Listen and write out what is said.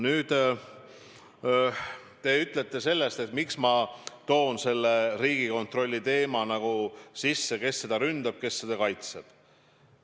Nüüd, te küsite, miks ma toon selle Riigikontrolli teema sisse: kes seda ründab, kes seda kaitseb.